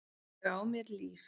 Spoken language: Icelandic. Ég á mér líf.